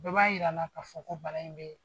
Bɛɛ ba yira'a la ka fɔ ko bala in bɛ